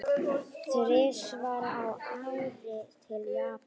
Þrisvar á ári til Japans?